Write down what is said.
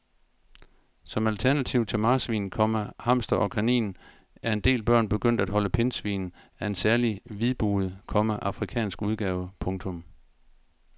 Som alternativ til marsvin, komma hamster og kanin er en del børn begyndt at holde pindsvin af en særlig hvidbuget, komma afrikansk udgave. punktum